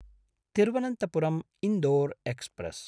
Thiruvananthapuram-Indore express